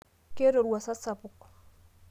keeta orwuasa sapuk